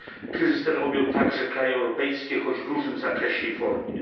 Kryzys ten objął także kraje europejskie, choć w różnym zakresie i formie.